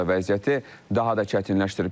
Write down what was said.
Bu da vəziyyəti daha da çətinləşdirib.